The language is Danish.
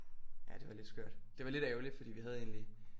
Ja det var lidt skørt det var lidt ærgeligt fordi vi havde egentlig